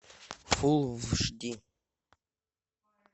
фулл эйч ди